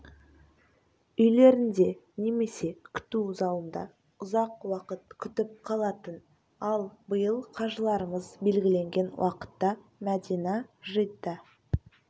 үйлерінде немесе күту залында ұзақ уақыт күтіп қалатын ал биыл қажыларымыз белгіленген уақытта мәдина жидда